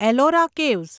Ellora caves